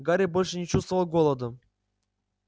гарри больше не чувствовал голода